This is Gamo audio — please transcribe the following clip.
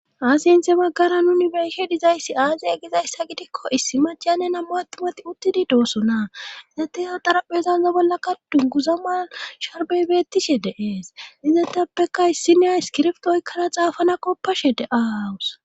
Aasi inthe baggara nuni beyshe dizayssi aaziya gizayssa gidikko issi majane nammo attumati uttidi doosona nete ya daraphezanza bollakka dunguza ma sharbeybeettishe deees izetappeka issi nea iskirfto oykkana xaafana koppashe deaawus.